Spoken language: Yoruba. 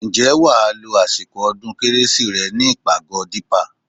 Ǹjẹ́ wà á lo àsìkò ọdún kérésì rẹ ní ìpàgọ́ Dípà?